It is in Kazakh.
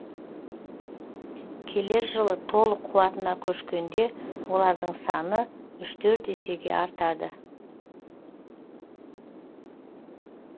келер жылы толық қуатына көшкенде олардың саны есеге артады